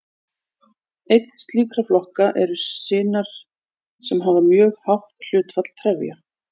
Einn slíkra flokka eru sinar sem hafa mjög hátt hlutfall trefja.